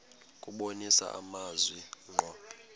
kubonisa amazwi ngqo